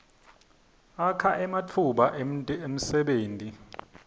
akha ematfuba emdebenti